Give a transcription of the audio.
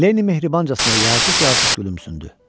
Leni mehribancasına yazıq-yazıq gülümsündü.